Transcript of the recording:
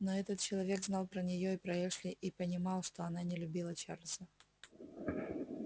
но этот человек знал про неё и про эшли и понимал что она не любила чарльза